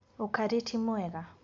Ũkarĩ ti mwega.